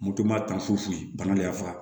Moto ma taa fo yen bana de y'a fa